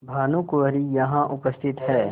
भानुकुँवरि यहाँ उपस्थित हैं